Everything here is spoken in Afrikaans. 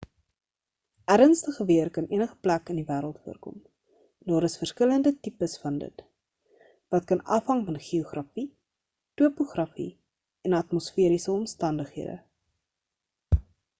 ernstige weer kan enige plek in die wêreld voorkom en daar is verskillende tipes van dit wat kan afhang van geografie topografie en atmosferiese omstandighede